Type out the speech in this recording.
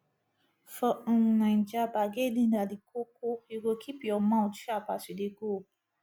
for um naija bargaining na di koko you go keep your mout sharp as you dey go